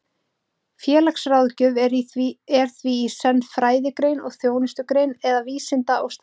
Félagsráðgjöf er því í senn fræðigrein og þjónustugrein, eða vísinda- og starfsgrein.